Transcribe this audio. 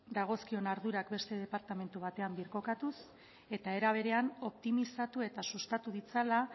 dagozkion ardurak beste departamentu batean birkokatuz eta era berean optimizatu eta sustatu ditzala